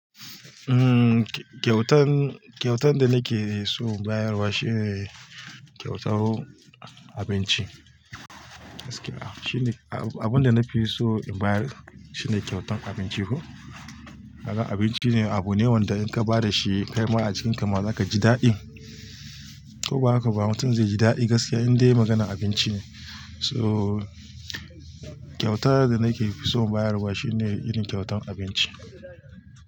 Umm, kyautan, kyautan da nake so in bayarwa shine kyautar abinci. Shine abunda nakeson in bayar shine kyautan abinci ko kaga abinci ne abu ne wanda in ka ba da shi kai ma a jikin ka ma zaka ji daɗi. Ko ba haka ba mutum zai ji daɗi gaskiya inda ya maganan abinci ne. So kyauta da nake so in bayarwa shine irin kyautan abinci.